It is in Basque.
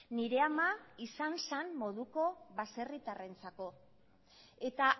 nire ama izan zan moduko baserritarrentzako eta